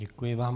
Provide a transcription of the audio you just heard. Děkuji vám.